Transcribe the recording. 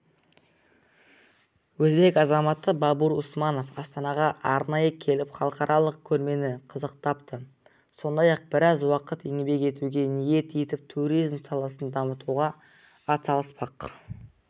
өзбек азаматы бабур усманов астанаға арнайы келіп халықаралық көрмені қызықтапты сондай-ақ біраз уақыт еңбек етуге ниет етіп турзим саласын дамытуға атсалыспақ